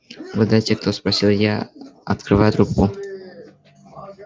угадайте кто спросил я открывая трубку